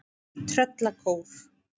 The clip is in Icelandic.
Tröllakór